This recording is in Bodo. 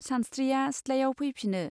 सानस्त्रिया सिथ्लायाव फैफिनो.